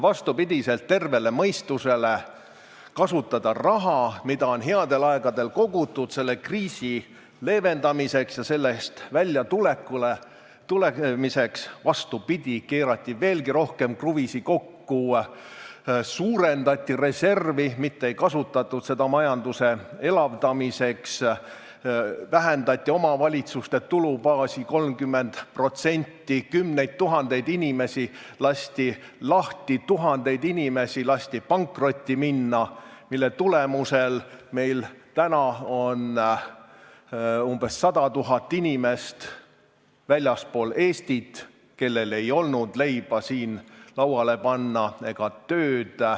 Vastupidi sellele, mida nägi ette terve mõistus, et tuleks kasutada raha, mida on headel aegadel kogutud, selle kriisi leevendamiseks ja sellest väljatulemiseks, keerati veelgi rohkem kruvisid kinni, suurendati reservi, mitte ei kasutatud seda majanduse elavdamiseks, vähendati omavalitsuste tulubaasi 30%, kümneid tuhandeid inimesi lasti lahti, tuhandetel inimestel lasti pankrotti minna, mille tulemuseks on see, et umbes 100 000 inimest on väljaspool Eestit, sest neil ei olnud siin leiba lauale panna ega tööd.